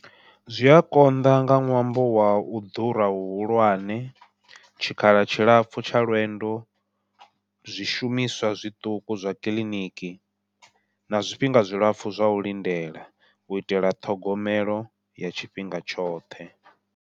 Zwi a konḓa nga ṅwambo wau ḓura hu hulwane, tshikhala tshilapfhu tsha lwendo, zwishumiswa zwiṱuku zwa kiḽiniki, na zwifhinga zwilapfhu zwa u lindela u itela ṱhogomelo ya tshifhinga tshoṱhe.